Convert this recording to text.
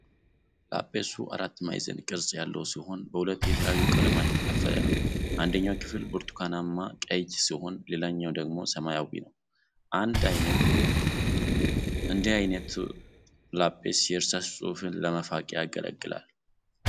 ላጲሱ አራት ማዕዘን ቅርጽ ያለው ሲሆን በሁለት የተለያዩ ቀለማት የተከፈለ ነው፤ አንደኛው ክፍል ብርቱካናማ-ቀይ ሲሆን ሌላኛው ደግሞ ሰማያዊ ነው። እንዲህ ዓይነቱ ላጲስ የእርሳስ ጽሁፍን ለመፋቅ ያገለግላል።